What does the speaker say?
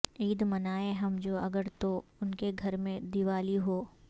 عید منائیں ہم جو اگر تو انکے گھر میں دیولی ہو